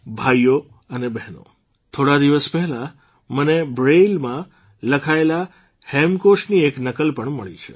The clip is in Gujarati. ભાઇઓ અને બહેનો થોડા દિવસ પહેલાં મને બ્રેઇલમાં લખાયેલા હેમકોશની એક નકલ પણ મળી છે